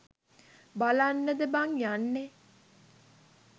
බලන්නද බං යන්නෙ?